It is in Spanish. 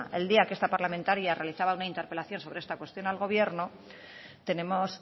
el día que esta parlamentaria realizaba una interpelación sobre esta cuestión al gobierno tenemos